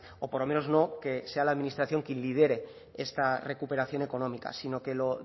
o por lo menos que sea la administración quien lidere esta recuperación económica sino que lo